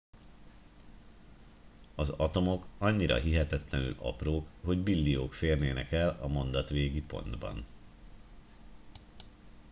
az atomok annyira hihetetlenül aprók hogy billiók férnének el a mondat végi pontban